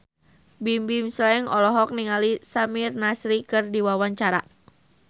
Bimbim Slank olohok ningali Samir Nasri keur diwawancara